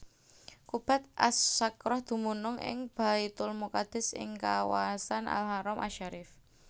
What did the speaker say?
Qubbat As Sakhrah dumunung ing Baitulmuqaddis ing kawasan Al Haram asy Syarif